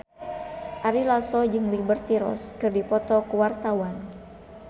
Ari Lasso jeung Liberty Ross keur dipoto ku wartawan